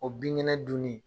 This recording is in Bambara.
O bin ŋɛnɛ dun ni